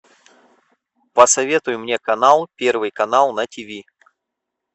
посоветуй мне канал первый канал на тв